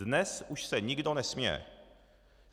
Dnes už se nikdo nesměje.